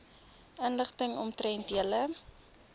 inligting omtrent julle